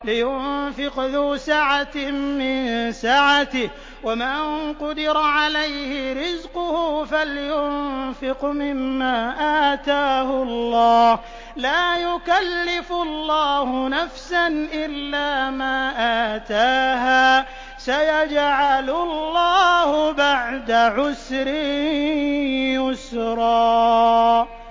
لِيُنفِقْ ذُو سَعَةٍ مِّن سَعَتِهِ ۖ وَمَن قُدِرَ عَلَيْهِ رِزْقُهُ فَلْيُنفِقْ مِمَّا آتَاهُ اللَّهُ ۚ لَا يُكَلِّفُ اللَّهُ نَفْسًا إِلَّا مَا آتَاهَا ۚ سَيَجْعَلُ اللَّهُ بَعْدَ عُسْرٍ يُسْرًا